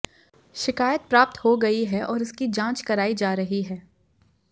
शिकायत प्राप्त हो गई है और उसकी जांच कराई जा रही है